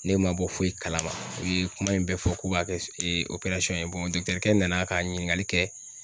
Ne ma bɔ foyi kalama u ye kuma in bɛɛ fɔ k'u b'a kɛ s ye. kɛ nana ka ɲininkali kɛ